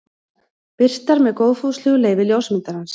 Birtar með góðfúslegu leyfi ljósmyndarans.